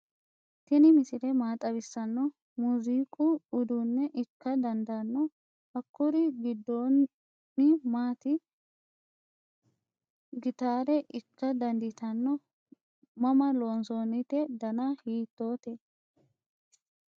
tini misile maa xawissanni no? muzuiiqu uduunne ikka dandaanno? hakkuri giddono maati ? gitaare ikka dandiitanno ? mama loonsoonnite dana hiittoote ?